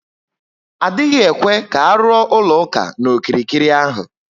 Adịghị ekwe ka aluo ụlọ ụka na okirikiri ahụ